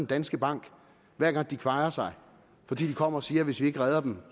danske bank hver gang de kvajer sig fordi de kommer og siger at hvis vi ikke redder dem